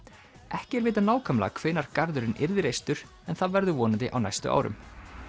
ekki er vitað nákvæmlega hvenær garðurinn yrði reistur en það verður vonandi á næstu árum